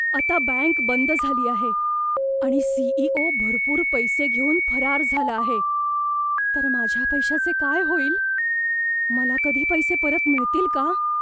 आता बँक बंद झाली आहे आणि सीईओ भरपूर पैसे घेऊन फरार झाला आहे, तर माझ्या पैशाचे काय होईल? मला कधी माझे पैसे परत मिळतील का?